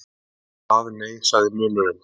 Ekki það, nei, sagði munnurinn.